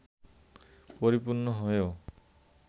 পরিপূর্ণ হয়েও